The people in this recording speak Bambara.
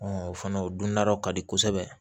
o fana o dundala ka di kosɛbɛ